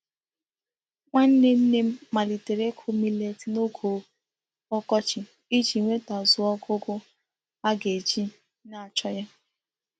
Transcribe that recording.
Nwanne nne m malitere iku milet n'oge okochi Iji nwetazuo ogugo a ga-eji na-acho ya.